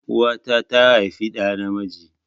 Uwa ta tà haifi dà na miji